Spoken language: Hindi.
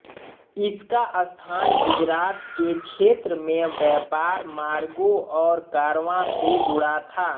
इसका स्थान गुजरात के क्षेत्र में व्यापार मार्गों और कारवां से जुड़ा था